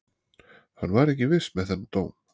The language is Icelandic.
Hann var ekki viss með þann dóm.